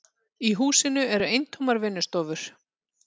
Í húsinu eru eintómar vinnustofur.